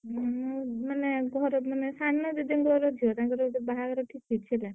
ମୁଁ ମାନେ ଘର ମାନେ ସାନ ଜେଜେଙ୍କର ଝିଅ ତାଙ୍କର ଗୋଟେ ବାହାଘର ଠିକ୍ ହେଇଛି ହେଲା।